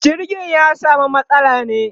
jirgin ya samu matsala ne